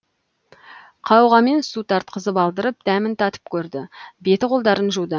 қауғамен су тартқызып алдырып дәмін татып көрді беті қолдарын жуды